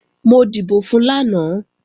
Mo dìbò fun lánàá